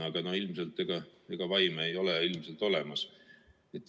Aga no ega vaime ei ole ilmselt olemas.